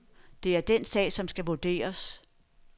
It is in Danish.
Det er den sag, som skal vurderes.